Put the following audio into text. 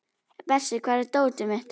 Bersi, hvar er dótið mitt?